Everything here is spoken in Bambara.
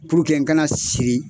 n kana siri